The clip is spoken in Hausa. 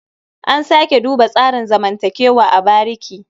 A sake duba tsarin zamantakewa a bariki.